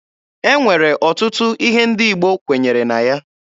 E nwere ọtụtụ ihe ndị Igbo kwenyere na ya.